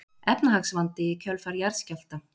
Efnahagsvandi í kjölfar jarðskjálfta